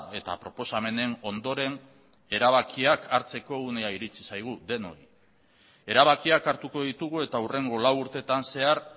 eta proposamenen ondoren erabakiak hartzeko unea iritsi zaigu denoi erabakiak hartuko ditugu eta hurrengo lau urtetan zehar